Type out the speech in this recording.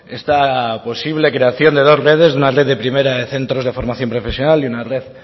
esta posible creación de dos redes una red de primera de centros de formación profesional y una red